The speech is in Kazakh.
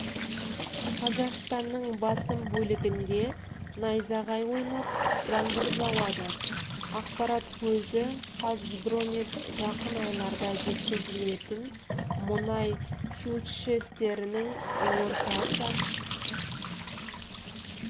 қазақстанның басым бөлігінде найзағай ойнап жаңбыр жауады ақпарат көзі қазгидромет жақын айларда жеткізілетін мұнай фьючерстерінің орташа